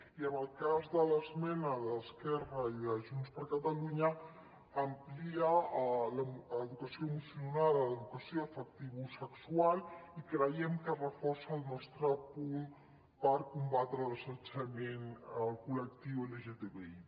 i en el cas de l’esmena d’esquerra i de junts per catalunya amplia l’educació emocional a l’educació afectivosexual i creiem que reforça el nostre punt per combatre l’assetjament al col·lectiu lgtbi